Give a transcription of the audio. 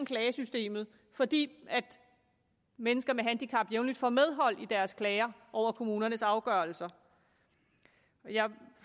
klagesystemet fordi mennesker med handicap jævnligt får medhold i deres klager over kommunernes afgørelser jeg